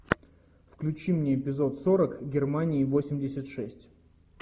включи мне эпизод сорок германии восемьдесят шесть